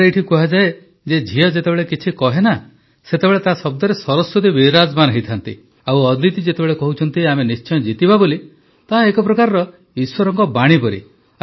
ଆମ ଏଇଠି କୁହାଯାଏ ଯେ ଝିଅ ଯେତେବେଳେ କିଛି କହେ ସେତେବେଳେ ତାର ଶବ୍ଦରେ ସରସ୍ୱତୀ ବିରାଜମାନ ହୋଇଥାନ୍ତି ଆଉ ଅଦିତି ଯେତେବେଳେ କହୁଛନ୍ତି ଆମ ନିଶ୍ଚୟ ଜିତିବା ବୋଲି ତାହା ଏକ ପ୍ରକାର ଈଶ୍ୱରଙ୍କ ବାଣୀ ପରି